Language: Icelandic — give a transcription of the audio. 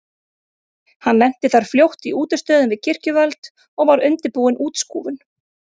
Hann lenti þar fljótt í útistöðum við kirkjuvöld og var undirbúin útskúfun.